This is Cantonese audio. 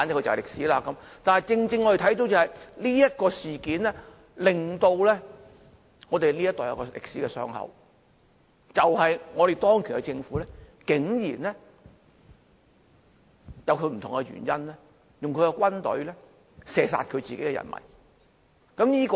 然而，我們正正看到這樁事件令我們這一代有一個歷史的傷口，就是當權的政府竟然以不同的原因，派軍隊射殺自己的人民。